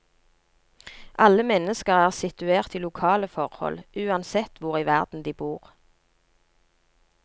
Alle mennesker er situert i lokale forhold, uansett hvor i verden de bor.